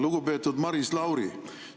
Lugupeetud Maris Lauri!